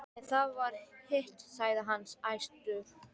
Ef það var hitt, sagði hann æstur: